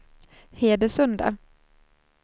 Hedesunda